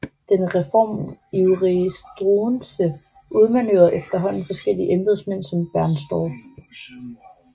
Den reformivrige Struensee udmanøvrerede efterhånden forskellige embedsmænd som Bernstorff